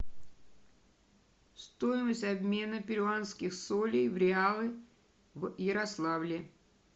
стоимость обмена перуанских солей в реалы в ярославле